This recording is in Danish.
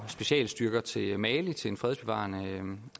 specialstyrker til mali til en fredsbevarende